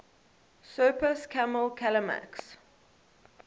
surpass kammel kalamak's